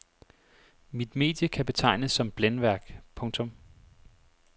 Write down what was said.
Mit medie kan betegnes som blændværk. punktum